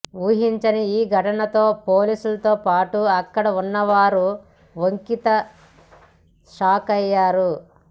ఊహించని ఈ ఘటనతో పోలీసులతో పాటు అక్కడ ఉన్నవారు ఒకింత షాకయ్యారు